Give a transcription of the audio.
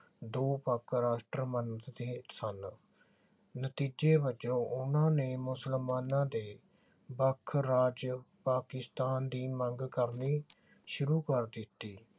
ਦੋ ਵੱਖ ਰਾਸ਼ਟਰ ਮੰਗਦੇ ਸਨ ਨਤੀਜੇ ਵਜੋਂ ਉਨ੍ਹਾਂ ਨੇ ਮੁਸਲਮਾਨਾਂ ਦੇ ਵੱਖ ਰਾਜ ਪਾਕਿਸਤਾਨ ਦੀ ਮੰਗ ਕਰਨੀ ਸ਼ੁਰੂ ਕਰ ਦਿੱਤੀ।